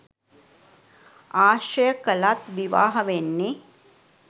ආශ්‍රය කළත් විවාහ වෙන්නෙ